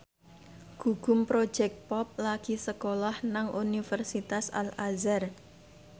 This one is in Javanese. Gugum Project Pop lagi sekolah nang Universitas Al Azhar